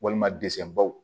Walima dese baw